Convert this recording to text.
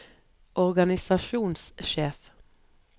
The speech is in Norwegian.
organisasjonssjef